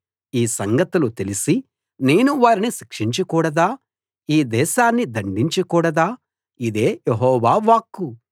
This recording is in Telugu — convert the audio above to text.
ఈ సంగతులు తెలిసీ నేను వారిని శిక్షించకూడదా ఈ దేశాన్ని దండించ కూడదా ఇదే యెహోవా వాక్కు